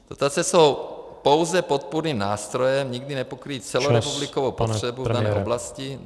Dotace jsou pouze podpůrným nástrojem, nikdy nepokryjí celorepublikovou potřebu v této oblasti.